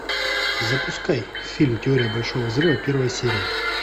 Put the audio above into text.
запускай фильм теория большого взрыва первая серия